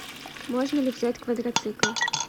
можно ли взять квадроцикл